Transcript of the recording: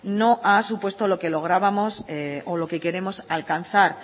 no ha supuesto lo que lográbamos o lo que queremos alcanzar